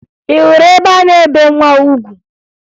Ị hụrụ ebe a na-ebe nwa ugwu?